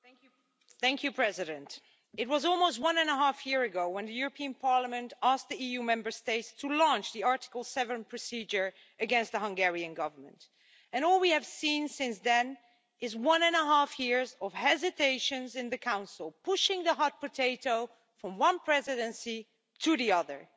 Mr President, it was almost one and a half years ago when the European Parliament asked the EU Member States to launch the Article 7 procedure against the Hungarian Government, and all we have seen since then is one and a half years of hesitations in the Council, pushing the hot potato from one presidency to the other.